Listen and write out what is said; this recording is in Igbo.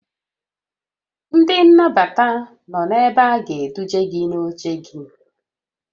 Ndị nnabata nọ ebe a ga-eduje gị n'oche gị